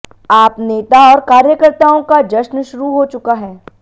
आप नेता और कार्यकर्ताओं का जश्न शुरू हो चुका है